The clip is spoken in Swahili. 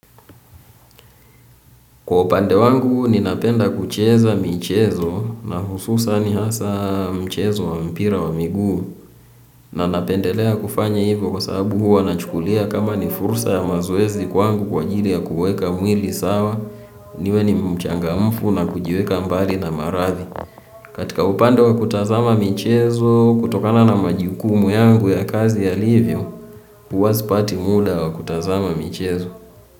Kwa upande wangu, ninapenda kucheza michezo na hususani hasa mchezo wa mpira wa miguu. Na napendelea kufanya hivyo kwa sababu huwa nachukulia kama ni fursa ya mazoezi kwangu kwa ajiri ya kuweka mwili sawa, niwe ni mchangamfu na kujiweka mbali na maradhi. Katika upande wa kutazama michezo kutokana na majukumu yangu ya kazi yalivyo, huwa sipati muda wa kutazama michezo.